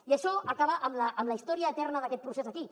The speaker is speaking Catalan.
i això acaba amb la història eterna d’aquest procés aquí